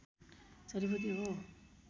जडीबुटी हो